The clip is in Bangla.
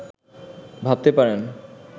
ভাবতে পারেন